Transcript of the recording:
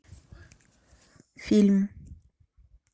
фильм